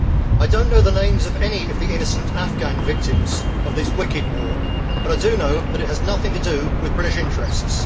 I do not know the names of any of the innocent Afghan victims of this wicked war, but I do know that it has nothing to do with British interests.